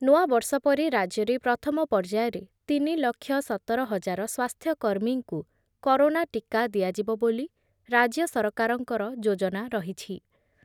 ନୂଆବର୍ଷ ପରେ ରାଜ୍ୟରେ ପ୍ରଥମ ପର୍ଯ୍ୟାୟରେ ତିନି ଲକ୍ଷ ସତର ହଜାର ସ୍ଵାସ୍ଥ୍ୟକର୍ମୀଙ୍କୁ କରୋନା ଟୀକା ଦିଆଯିବ ବୋଲି ରାଜ୍ୟ ସରକାରଙ୍କର ଯୋଜନା ରହିଛି।